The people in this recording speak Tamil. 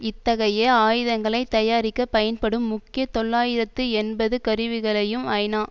இத்தகைய ஆயுதங்களை தயாரிக்க பயன்படும் முக்கிய தொள்ளாயிரத்து எண்பது கருவிகளையும் ஐநா